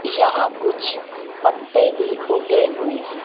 यहां कुछ पत्ते भी उगे हुए हैं।